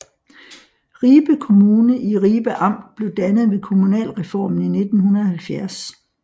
Ribe Kommune i Ribe Amt blev dannet ved kommunalreformen i 1970